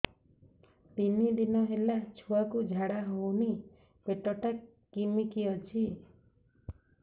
ତିନି ଦିନ ହେଲା ଛୁଆକୁ ଝାଡ଼ା ହଉନି ପେଟ ଟା କିମି କି ଅଛି